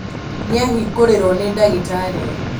nĩahingũrĩrwo nĩ ndagĩtarĩ